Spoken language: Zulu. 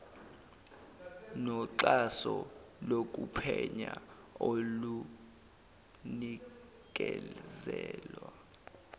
noxhaso lokuphenya olunikezelwa